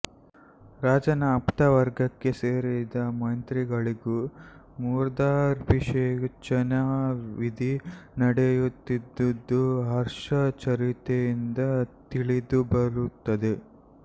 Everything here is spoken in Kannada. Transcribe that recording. ರಾಜನ ಆಪ್ತವರ್ಗಕ್ಕೆ ಸೇರಿದ ಮಂತ್ರಿಗಳಿಗೂ ಮೂರ್ಧಾಭಿಷೇಚನ ವಿಧಿ ನಡೆಯುತ್ತಿದ್ದುದು ಹರ್ಷಚರಿತೆಯಿಂದ ತಿಳಿದುಬರುತ್ತದೆ